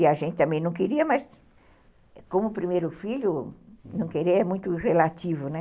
E a gente também não queria, mas como primeiro filho, não querer é muito relativo, né?